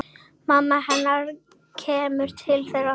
Mamma hennar kemur til þeirra.